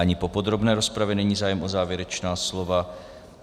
Ani po podrobné rozpravě není zájem o závěrečná slova.